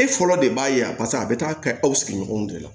E fɔlɔ de b'a ye a paseke a bɛ taa kɛ aw sigiɲɔgɔnw de la